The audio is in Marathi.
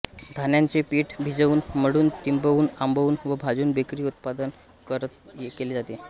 धान्यांचे पिठे भिजवून मळून तिंबवून आंबवून व भाजून बेकरी उत्पादने तयार केले जात